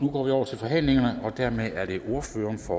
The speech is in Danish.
går vi over til forhandlingerne og dermed er det ordføreren for